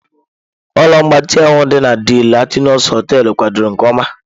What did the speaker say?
Ụlọ mgbatị ahụ dị na DE Latinos hoteelu kwadoro nke ọma.